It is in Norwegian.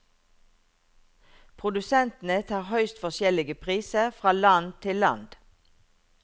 Produsentene tar høyst forskjellige priser fra land til land.